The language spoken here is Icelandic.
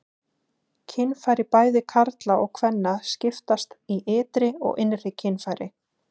Kynfæri bæði karla og kvenna skiptast í ytri og innri kynfæri.